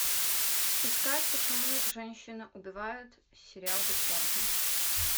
искать почему женщины убивают сериал бесплатно